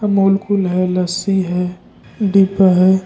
अमोल्कुल है लस्सी है डिब्बा है।